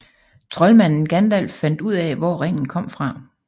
Troldmanden Gandalf fandt ud af hvor ringen kom fra